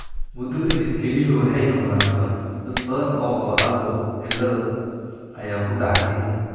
Muddo ka dib, kelyuhu waxay noqdaan nabar, dad badan oo qaba Alport cilada ayaa ku dhaca kelyaha.